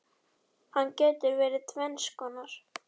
Hann getur verið tvenns konar